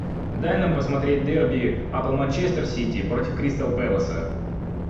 дай нам посмотреть дерби апл манчестер сити против кристал пэласа